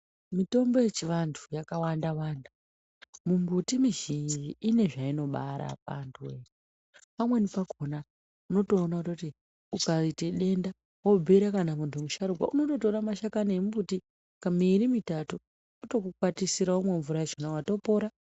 Mitombo yechivantu yakawanda wanda mumbuti mizhinji ine zvainobara antuwe, pamweni pakona unotoona kuti ukaite denda wobhiire kana muntu musharukwa unototore mashakani emumbuti miri mitatu otokukwatisira womwa mvura yachona watopora.